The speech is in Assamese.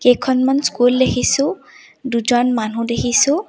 কেইখনমান স্কুল দেখিছোঁ দুজনমান মানুহ দেখিছোঁ।